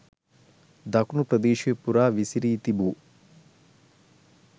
දකුණු ප්‍රදේශය පුරා විසිරී තිබූ